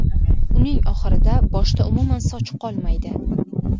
Uning oxirida boshda umuman soch qolmaydi.